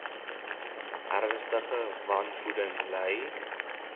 ernstige wanvoeding ly